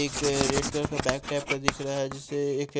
एक अ red colour का बैग टाइप का दिख रहा है जिसे--